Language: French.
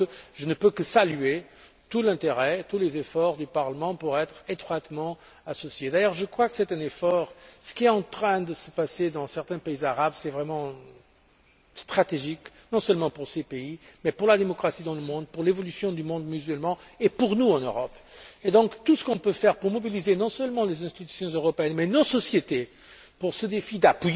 Donc, je ne peux que saluer tout l'intérêt, tous les efforts du Parlement pour être étroitement associé. D'ailleurs, ce qui est en train de se passer dans certains pays arabes est vraiment stratégique, non seulement pour ces pays, mais pour la démocratie dans le monde, pour l'évolution du monde musulman, et pour nous, en Europe. Donc, tout ce qu'on peut faire pour mobiliser non seulement les institutions européennes mais nos sociétés en faveur de ce défi de